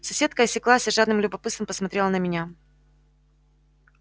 соседка осеклась и с жадным любопытством посмотрела на меня